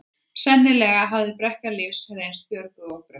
Sennilega hafði brekka lífsins reynst Björgu of brött.